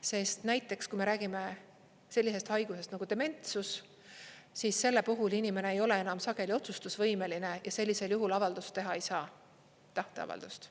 Sest näiteks, kui me räägime sellisest haigusest nagu dementsus, siis selle puhul inimene ei ole enam sageli otsustusvõimeline ja sellisel juhul avaldust teha ei saa, tahteavaldust.